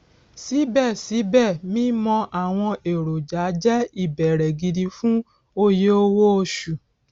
síbẹ síbẹ mímọ àwọn èròjà jẹ ìbẹrẹ gidi fún oyè owó oṣù